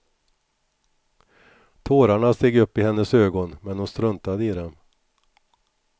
Tårarna steg upp i hennes ögon men hon struntade i dem.